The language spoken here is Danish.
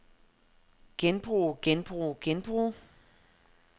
genbruge genbruge genbruge